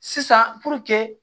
Sisan